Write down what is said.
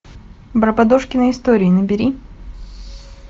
барбадожкины истории набери